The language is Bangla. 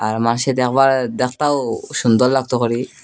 আর মাসে দেখবার দেখতাও সুন্দর লাগতো হরি।